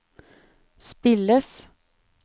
spilles